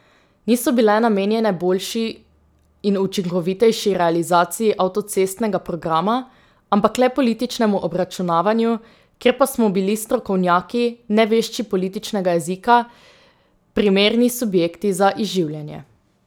Niso bile namenjene boljši in učinkovitejši realizaciji avtocestnega programa, ampak le političnemu obračunavanju, kjer pa smo bili strokovnjaki, nevešči političnega jezika, primerni subjekti za izživljanje.